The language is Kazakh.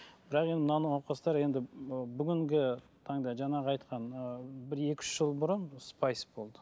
бірақ енді мына науқастар енді бүгінгі таңда жаңағы айтқан ы бір екі үш жыл бұрын спайс болды